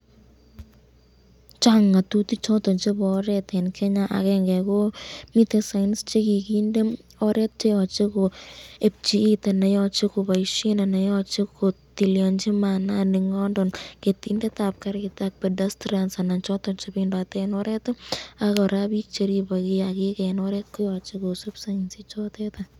Chang ngatutikab choton chebo oret eng Kenya, akengo ko miten signs chekikinde oret cheyoche keebchi it anan yoche keboisyen anan yoche ketilianchi maanani nondon ketindetab karit ii ,ak pedestrians choton bik chebendote eng oreti, ak koraa cheaki kiakik eng oret koyache kisub signs ichoton.